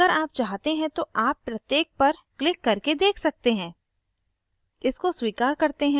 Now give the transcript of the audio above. अतः अगर आप चाहते हैं तो आप प्रत्येक पर क्लिक करके देख सकते हैं